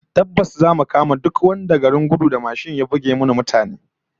Tabbas zamu kama duk wanda garin gudu da mashin ya buge mana mutane